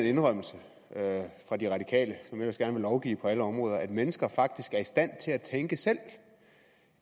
indrømmelse fra de radikale som ellers gerne vil lovgive på alle områder at mennesker faktisk er i stand til at tænke selv